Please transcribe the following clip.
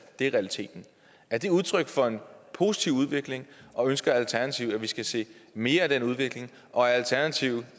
det er realiteten er det udtryk for en positiv udvikling og ønsker alternativet at vi skal se mere af den udvikling og er alternativet